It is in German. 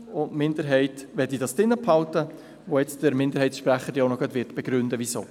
Die Minderheit möchte ihn beibehalten, und der Minderheitssprecher wird jetzt auch gleich begründen, weshalb.